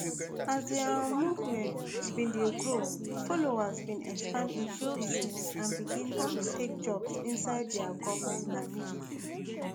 as di um movement bin dey grow followers bin expand into business and begin um take jobs inside di goment and military